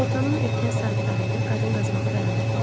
Günortanın erkən saatlarında qadın qazmağı dayandırdı.